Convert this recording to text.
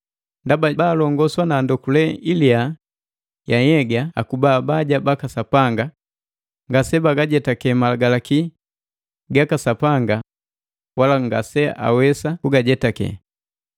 Ndaba baalongoswa na ndokule ilia ya nhyegaa akuba abaja baka Sapanga, ngase bagajetake Malagalaki gaka Sapanga wala ngaseawesa kugajetake.